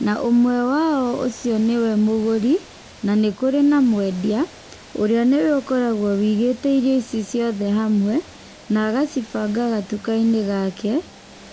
na ũmwe wao nĩwe mũgũri na nĩ kũrĩ na mwendia. Ũrĩa nĩwe ũkoragwo ũigĩte indo ici ciothe hamwe, na agacibanga gatuka-inĩ gake.